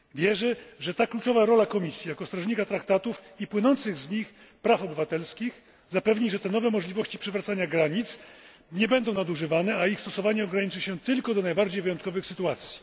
Wierzę, że ta kluczowa rola Komisji jako strażnika traktatów i płynących z nich praw obywatelskich zapewni, że te nowe możliwości przywracania granic nie będą nadużywane, a ich stosowanie ograniczy się tylko do najbardziej wyjątkowych sytuacji.